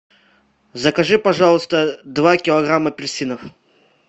закажи пожалуйста два килограмма апельсинов